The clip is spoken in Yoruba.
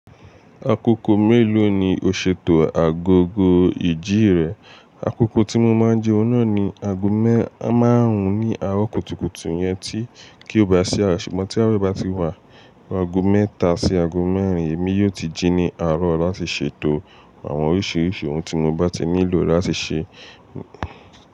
Akoko mélòó ni o ṣètò agogo ìjì rẹ? Akoko tí mo máa ń ji oun náà ni ago mẹ́àráùn ní àárọ̀ kùtùkùtù iyẹn tí kí ó bá sí àwe, ṣùgbọ́n tí àwe bá ti wà, ago mẹ́ta sí ago mẹ́rin èmi yóò ti ji ní àárọ̀ láti ṣètò àwọn oríṣiríṣi ohun tí mo bá ti nílò láti ṣe.